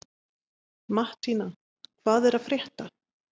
Mattína, hvað er að frétta?